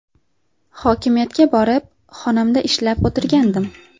Hokimiyatga borib, xonamda ishlab o‘tirgandim.